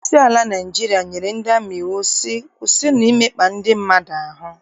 Onyeisi ala Naịjirịa nyere ndị amị iwu sị, kwụsịnụ imekpa ndị mmadụ ahụ!